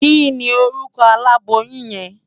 Kini órùkò àlábóyùn yèn?